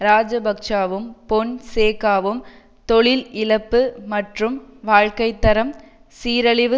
இராஜபக்ஷவும் பொன்சேகாவும் தொழில் இழப்பு மற்றும் வாழ்க்கை தரம் சீரழிவு